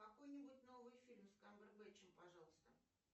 какой нибудь новый фильм с камбербэтчем пожалуйста